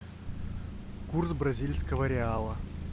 курс бразильского реала